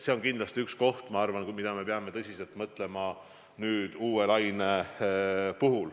See on kindlasti teema, mille üle me peame uue laine puhul tõsiselt mõtlema.